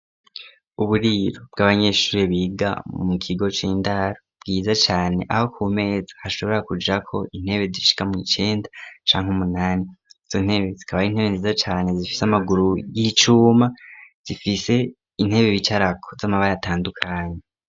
Uburiro bw'abanyeshuri biga mu kigo c'indaro bwiza cane. Aho ku meza hashobora kujra ko intebe zishika mu icenda ncank umunani zontebe zikabay'intebe ziza cane zifise amaguru y'icuma zifise intebe bicarako z'amabara atandukanye.